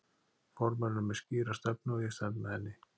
Formaðurinn er með skýra stefnu og ég stend með henni.